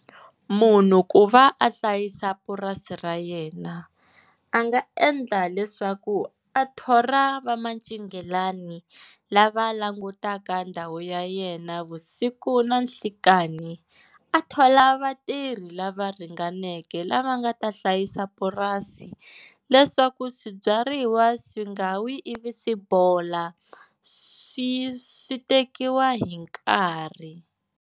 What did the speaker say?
Munhu ku va a hlayisa purasi ra yena a nga endla leswaku a thola va mancinghelani lava langutaka ndhawu ya yena vusiku na nhlekani. A thola vatirhi lava ringaneke lava nga ta hlayisa purasi leswaku swibyariwa swi nga wi ivi swi bola swi swi tekiwa hi nkarhi.